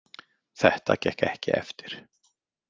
Þetta gekk ekki eftir.